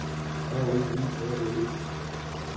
R O Y A L E